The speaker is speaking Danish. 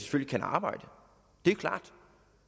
kan arbejde det er klart